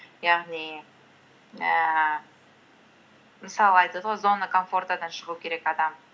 яғни ііі мысалы айтады ғой зона комфортадан шығу керек адам